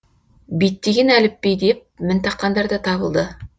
биттеген әліпби деп мін таққандар да табылды